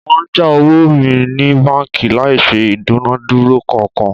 Wọ́n já owó mi ní báńkì láì ṣe ìdúnadúrà kankan